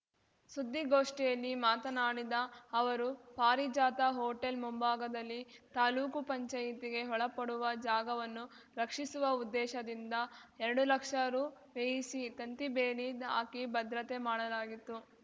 ಸುದ್ದಿಗೋಷ್ಠಿಯಲ್ಲಿ ಮಾತನಾಡಿದ ಅವರು ಪಾರಿಜಾತ ಹೋಟೆಲ್‌ ಮುಂಭಾಗದಲ್ಲಿ ತಾಲೂಕು ಪಂಚಾಯಿತಿಗೆ ಒಳಪಡುವ ಜಾಗವನ್ನು ರಕ್ಷಿಸುವ ಉದ್ದೇಶದಿಂದ ಎರಡು ಲಕ್ಷ ರು ವ್ಯಯಿಸಿ ತಂತಿಬೇಲಿ ಹಾಕಿ ಭದ್ರತೆ ಮಾಡಲಾಗಿತ್ತು